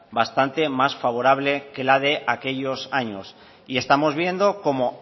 bastante más favorable que la de aquellos años y estamos viendo cómo